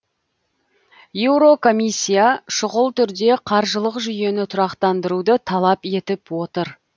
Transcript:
еурокомиссия шұғыл түрде қаржылық жүйені тұрақтандыруды талап етіп отыр